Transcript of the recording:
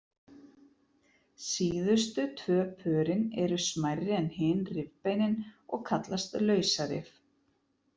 Síðustu tvö pörin eru smærri en hin rifbeinin og kallast lausarif.